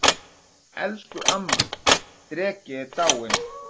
Elsku amma dreki er dáin.